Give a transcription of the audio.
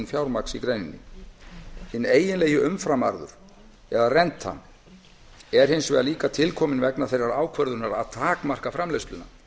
fjármagns í greininni hinn eiginlegi umframarður rentan er hins vegar líka kominn til vegna þeirrar ákvörðunar að takmarka framleiðsluna